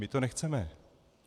My to nechceme.